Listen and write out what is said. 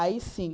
Aí, sim.